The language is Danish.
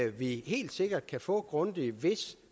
vi helt sikkert kan få en grundig hvis